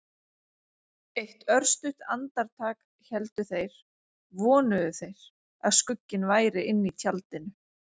Eitt örstutt andartak héldu þeir- vonuðu þeir- að skugginn væri inni í tjaldinu.